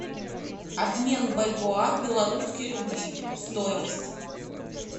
обмен бальбоа в белорусские рубли стоимость